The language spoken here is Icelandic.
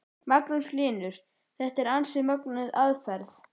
Magnús Hlynur: Þetta er ansi mögnuð aðferð?